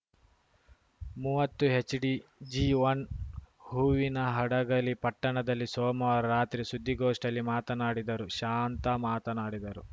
ಮೂವತ್ತು HDG one Hoovinahadagali ಪಟ್ಟಣದಲ್ಲಿ ಸೋಮವಾರ ರಾತ್ರಿ ಸುದ್ದಿಗೋಷ್ಠಿಯಲ್ಲಿ ಮಾತನಾಡಿದರು ಶಾಂತಾ ಮಾತನಾಡಿದರು